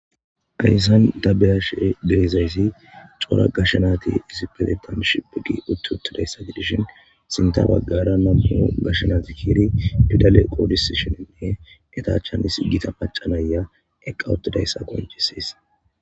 Gayssan dabeyashe geezaysi coora gashanati isipete dam shipiqi utti uttidayssati dishin sinta baggara namuho gashanati hiiri fidale qoodis shininne etachan isi gita paccanaya eqqa ottidayssa gonjisees